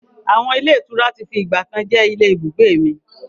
Àwọn ilé ìtura tí fi ìgbàkan jẹ́ ilé ibùgbé mi.